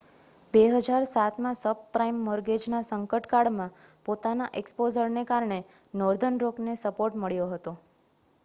2007માં subprime મૉર્ગેજના સંકટકાળમાં પોતાના એક્સ્પોઝરને કારણે નૉર્ધર્ન રૉકને સપોર્ટ મળ્યો હતો